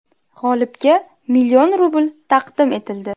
G‘olibga million rubl taqdim etildi.